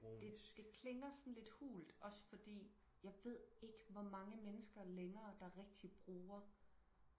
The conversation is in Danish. det det klinger sådan lidt hult også fordi jeg ved ikke hvor mange mennesker længere der rigtigt bruger